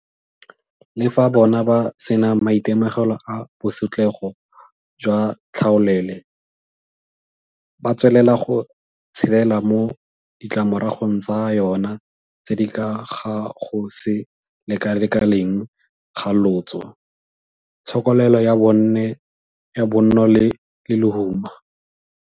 Le fa bona ba sena maitemogelo a bosetlhogo jwa tlhaolele, ba tswelela go tshelela mo ditlamoragong tsa yona tse di ka ga go se lekalekaneng ga lotso, tshokelelo ya bonno le lehuma.